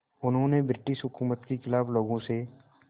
उन्होंने ब्रिटिश हुकूमत के ख़िलाफ़ लोगों से